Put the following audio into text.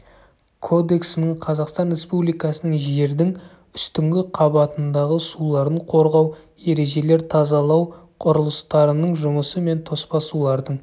кодексінің қазақстан республикасының жердің үстіңгі қабатындағы суларын қорғау ережелер тазалау құрылыстарының жұмысы мен тоспа сулардың